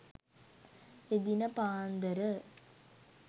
එදින පාන්දර